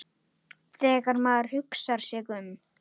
Þegar maður hugsar sig um.